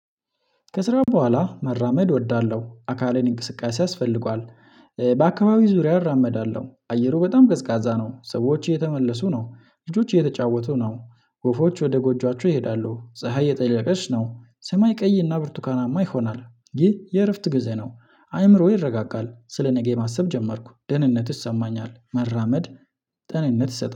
ከስራው በኋላ መራመድ እወዳለሁ አካሌን እንቅስቃሴ ያስፈልጓል። በአካባቢው ዙሪያ እራመዳለሁ አየሩ በጣም ቀዝቃዛ ነው። ሰዎች የተመለሱ ነው ልጆች የተጫወቱ ነው ወፎች ወደ ጎጆአቸው ይሄዳሉ። ፀሀይ እየጠለቀች ነው። ሰማይ ቀይ እና ብርቱካናማ ይሆናል። ይህ የእረፍት ጊዜ ነው። አይምሮ ይረጋጋል ስለ ነገ ማሰብ ጀመርኩ ደህንነት ይሰማኛል። መራመድ ጤንነት ይሰጣል